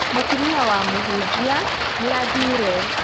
Mũtumia wa mũhunjia nĩ athire